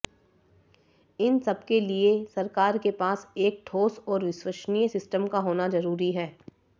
इन सबके लिए सरकार के पास एक ठोस और विश्वसनीय सिस्टम का होना ज़रूरी है